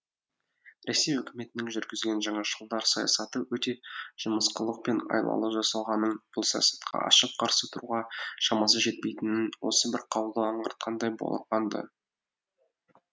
ресей өкіметінің жүргізген жаңашылдар саясаты өте жымысқылық пен айлалы жасалғанын бұл саясатқа ашық қарсы тұруға шамасы жетпейтінін осы бір қаулы анғартқандай болған ды